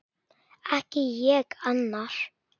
Ekki ég: annar.